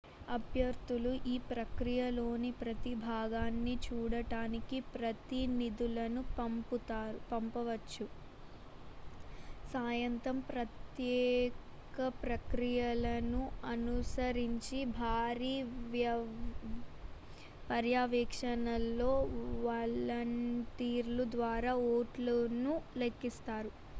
అభ్యర్థులు ఈ ప్రక్రియలోని ప్రతి భాగాన్ని చూడటానికి ప్రతినిధులను పంపవచ్చు సాయంత్రం ప్రత్యేక ప్రక్రియలను అనుసరించి భారీ పర్యవేక్షణలో వలంటీర్ల ద్వారా ఓట్లను లెక్కిస్తారు